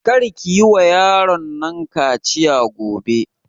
Kar ki yi wa yaron nan kaciya gobe!